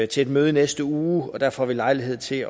til et møde i næste uge og der får vi lejlighed til